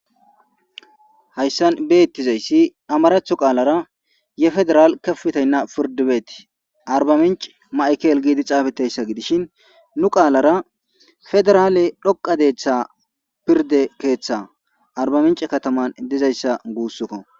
Hayssan beettizayssi amarathu qaalara yefederaal kefutaynna pirdibeeti arba minc maikel giidi caafeteyssa gidishin nu qaalara federaale dhoqa deetha pirde keeththa arba minc kataman dizayssa guussokko.